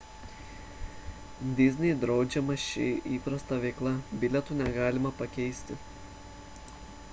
disney draudžiama ši įprasta veikla bilietų negalima pakeisti